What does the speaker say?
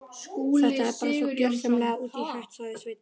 Þetta er bara svo gjörsamlega út í hött sagði Svein